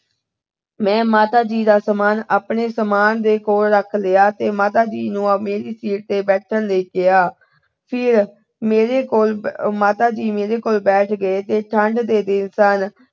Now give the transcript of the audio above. ਮੈਂ ਮਾਤਾ ਜੀ ਦਾ ਸਾਮਾਨ ਆਪਣੇ ਸਾਮਾਨ ਦੇ ਕੋਲ ਰੱਖ ਲਿਆ ਤੇ ਮਾਤਾ ਜੀ ਨੂੰ ਮੇਰੀ ਸੀਟ ਤੇ ਬੈਠਣ ਲਈ ਕਿਹਾ। ਫਿਰ ਮੇਰੇ ਕੋਲ ਅਹ ਮਾਤਾ ਜੀ ਮੇਰੇ ਕੋਲ ਬੈਠ ਗਏ ਤੇ ਠੰਢ ਦੇ ਦਿਨ ਸਨ।